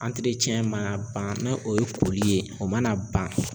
mana ban na o ye koli ye o mana ban